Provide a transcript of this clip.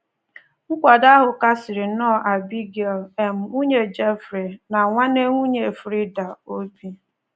Nkwado ahụ kasiri nnọọ Abigail — um nwunye Jeffrey na nwanne nwanyị Frieda — obi.